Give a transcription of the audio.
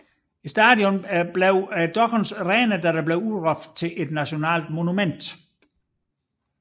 Stadionet blev dog reddet da det blev udråbt til at nationalt monument